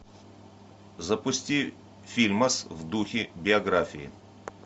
запусти фильмас в духе биографии